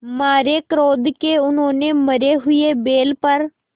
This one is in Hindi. मारे क्रोध के उन्होंने मरे हुए बैल पर